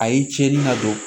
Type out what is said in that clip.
A ye cɛnni na don